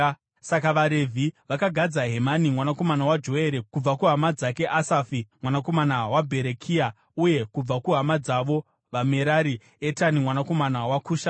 Saka vaRevhi vakagadza Hemani mwanakomana waJoere; kubva kuhama dzake Asafi mwanakomana waBherekia; uye kubva kuhama dzavo vaMerari, Etani mwanakomana waKushaya;